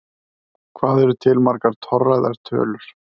Hvað eru til margar torræðar tölur?